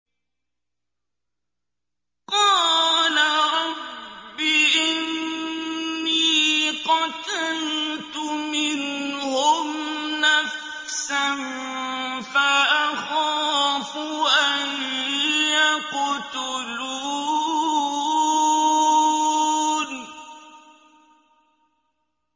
قَالَ رَبِّ إِنِّي قَتَلْتُ مِنْهُمْ نَفْسًا فَأَخَافُ أَن يَقْتُلُونِ